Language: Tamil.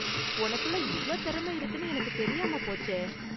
உனக்குள்ள இவ்ளோ திறமை இருக்குனு எனக்கு தெரியாம போச்சே.